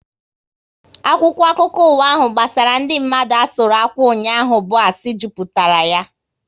Akwụkwọ akụkọ ụwa ahu gbasara ndị mmadu asụru akwụ ụnyaahụ bụ asị jupụtara ya